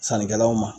Sannikɛlaw ma